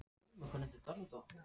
Steinborg, hækkaðu í græjunum.